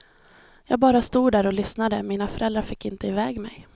Jag bara stod där och lyssnade, mina föräldrar fick inte iväg mig.